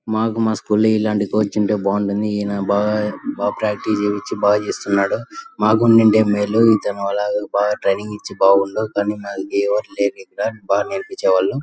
మాకు మా స్కూల్ లో ఇలాంటి కోచ్ ఉంటె బాగుంటుంది. ఈయన బాగా బాగా ప్రాక్టీస్ చేయిపించి బాగు చేస్తున్నాడు. మాకుండుంటే మేలు ఒకలాగా బాగా ట్రైనింగ్ ఇచ్చి బాగుండు. కానీ నాకు ఎవరు లేక్క ఇక్కడ లేరిక్కడ బాగ నేర్పించేవాళ్ళు.